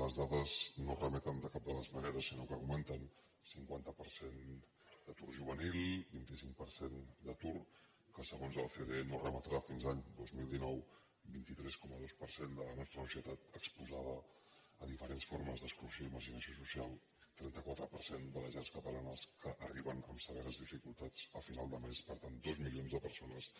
les dades no remeten de cap de les maneres sinó que augmenten cinquanta per cent d’atur juvenil vint cinc per cent d’atur que segons l’ocde no remetrà fins l’any dos mil dinou vint tres coma dos per cent de la nostra societat exposada a diferents formes d’exclusió i marginació social trenta quatre per cent de les llars catalanes que arriben amb severes dificultats a final de més per tant dos milions de persones